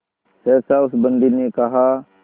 सहसा उस बंदी ने कहा